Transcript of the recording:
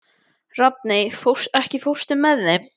Rafney, ekki fórstu með þeim?